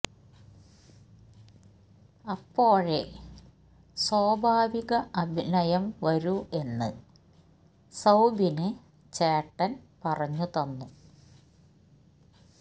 അപ്പോഴേ സ്വാഭാവിക അഭിനയം വരൂ എന്ന് സൌബിന് ചേട്ടന് പറഞ്ഞു തന്നു